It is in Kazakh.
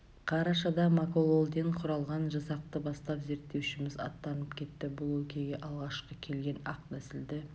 қарашада макололден құралған жасақты бастап зерттеушіміз аттанып кетті бұл өлкеге алғашқы келген ақ нәсілді